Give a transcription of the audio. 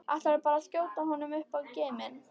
Ætlarðu bara að skjóta honum upp í geiminn?